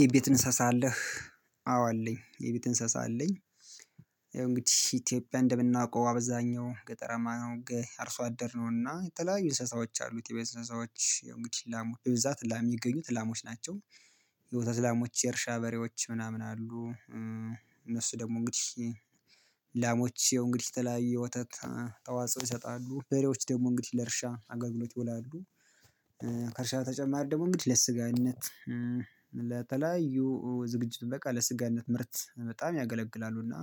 የቤት እንሰሳ አለህ አዎ አለኝ የቤት እንሰሳ አለኝ። ያው እንግዲህ ኢትዮጵያ እንደምናውቀው አብዛኛው ገጠራማ ነው አርሶ አደር ነውና የተለያዩ እንሰሳዎች አሉት የቤት ሰሳዎች ያው እንግዲህ ላሞች በብዛት ላም የሚገኙት ላሞች ናቸው። የወተት ላሞች የእርሻ በሬዎች ምናምን አሉ። እነሱ ደግሞ እንግዲህ ላሞች ያው እንግዲህ ተለያይ ወተት ተዋጽኦ ይሰጣሉ በሬዎች ደግሞ እንግዲህ ለእርሻ አገልግሎት ይውላሉ። ከእርሻ ተጨማሪ ደግሞ እንግዲህ ለስጋነት ለተለያዩ ዝግጅት በቃ ለስጋነት ምርት በጣም ያገለግላሉ። እና